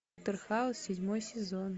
доктор хаус седьмой сезон